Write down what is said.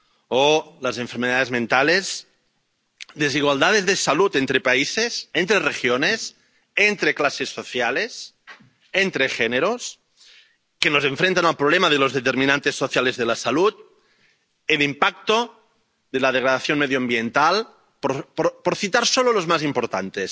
o las enfermedades mentales, desigualdades de salud entre países, entre regiones, entre clases sociales, entre géneros, que nos enfrentan al problema de los determinantes sociales de la salud, el impacto de la degradación medioambiental —por citar solo los más importantes—.